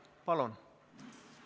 Palun!